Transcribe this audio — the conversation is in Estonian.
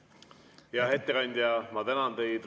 Hea ettekandja, ma tänan teid!